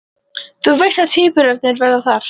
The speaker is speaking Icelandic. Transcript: Þú veist að tvíburarnir verða þar